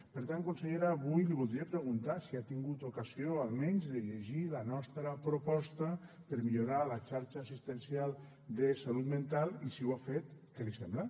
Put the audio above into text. per tant consellera avui li voldria preguntar si ha tingut ocasió almenys de llegir la nostra proposta per millorar la xarxa assistencial de salut mental i si ho ha fet què li sembla